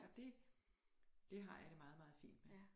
Og dét det har jeg det meget meget fint med